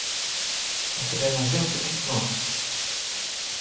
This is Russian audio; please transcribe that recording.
у тебя найдется гипноз